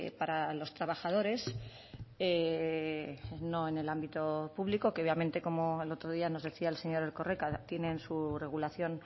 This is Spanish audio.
para los trabajadores no en el ámbito público que obviamente como el otro día nos decía el señor erkoreka tienen su regulación